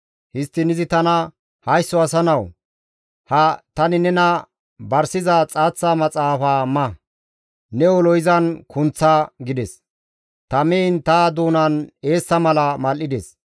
Histtidi izi tana, «Haysso asa nawu! Ha tani nena barsiza xaaththa maxaafaza ma; ne ulo izan kunththa» gides. Ta miin ta doonan eessa mala mal7ides.